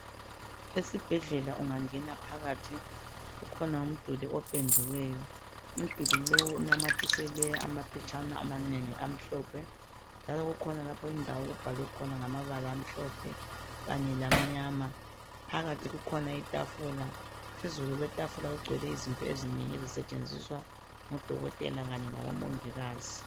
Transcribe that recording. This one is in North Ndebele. Esibhedlela ungangena phakathi, kukhona umduli opendiweyo. Umduli lowu unamathiselwe amaphetshana amanengi amhlophe, njalo kukhona lapho okubhalwe khona ngamabala amhlophe kanye lamnyama. Phakathi kukhona itafula. Phezulu kwetafula kugcwele izinto ezinengi ezisetshenziswa ngodokotela kanye labomongikazi.